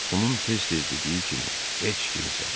Onun tez-tez dediyi kimi heç kimsən.